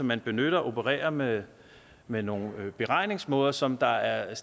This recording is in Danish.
man benytter opererer med med nogle beregningsmåder som der er